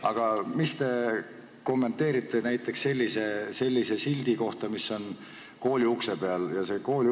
Aga kuidas te kommenteerite näiteks sellist silti, mis on kooliukse peal?